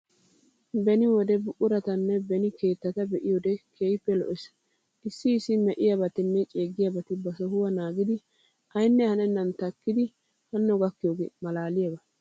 Beni wode buquratanne beni keettata be"iyoodee keehippe lo'ees. Issi issi me"iyaabatinne ceeggiyaabati ba sohuwa naagidi aynne hanennan takkidi hanno gaakiyoogee malaaliyaaba.